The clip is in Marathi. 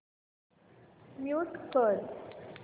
म्यूट कर